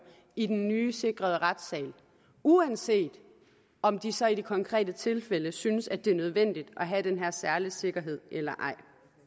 i den nye sikrede retssal uanset om de så i de konkrete tilfælde synes at det er nødvendigt at have denne særlige sikkerhed eller ej